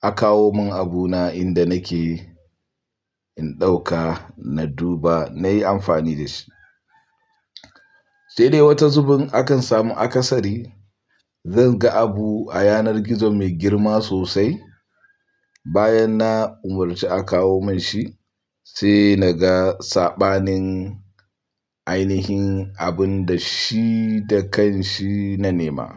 a kawo mun abuna inda nake, in ɗauka na duba, nayi amfani da shi. Sai dai wata zubin akan samu akasari zan ga abu a yanar gizo mai girma sosai, bayan na umarci a kawo mun shi sai naga saɓanin ainihin abun da shi da kanshi na nema.